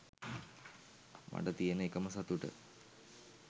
මට තියන එකම සතුට